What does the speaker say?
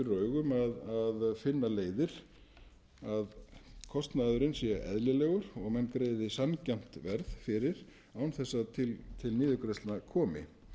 fyrir augum að finna leiðir að kostnaðurinn sé eðlilegur og menn greiði sanngjarnt verð fyrir án þess að til niðurgreiðslna komi